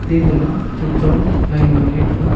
ega ma chen chong lai ngao ley ngoi taiga.